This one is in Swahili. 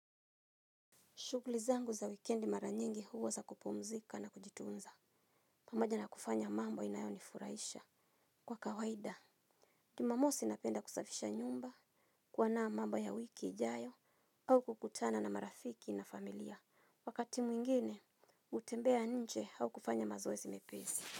Shugli zangu za wikendi mara nyingi huwa za kupumzika na kujitunza. Pamoja na kufanya mambo inayoni furaisha. Kwa kawaida. Jumamosi napenda kusafisha nyumba. Kuona mambo ya wiki ijayo au kukutana na marafiki na familia. Wakati mwingine, utembea nje au kufanya mazoezi mepezi.